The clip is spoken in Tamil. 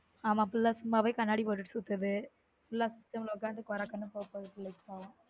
ஆமா பிள்ள சும்மாவே கண்ணாடி போட்டு சுத்துது full ல system ல உக்காந்து கோர கண்ணும் போக போகுது